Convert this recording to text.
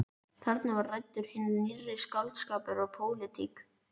Þarna var ræddur hinn nýrri skáldskapur og pólitík.